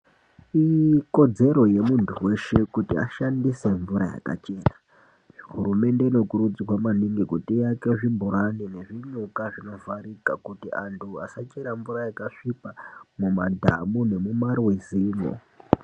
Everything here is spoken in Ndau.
Ikodzero yemuntu weshe kuti ashandise mvura yakachena. Hurumende inokurudzirwa maningi kuti iake zvibhorani nezvinyuka zvinovharika kuti antu asachera mvura yakasvipa mumadhamu nemumarwizi mwo.